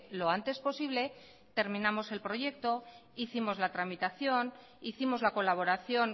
lo antes posible terminamos el proyecto hicimos la tramitación hicimos la colaboración